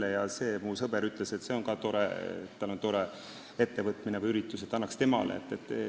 Ei saa olla nii, et mu sõber ütles, et tal on ka tore ettevõtmine või üritus, ja anname temale raha.